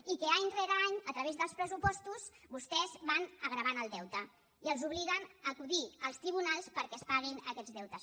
i que any rere any a través dels pressupostos vostès van agreujant el deute i els obliguen a acudir als tribunals perquè es paguin aquests deutes